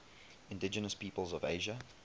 indigenous peoples of asia